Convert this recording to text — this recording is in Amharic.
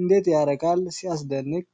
እንዴት ያረካል! ሲያስደንቅ!